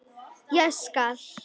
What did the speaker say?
Ég skal!